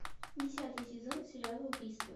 десятый сезон сериала убийство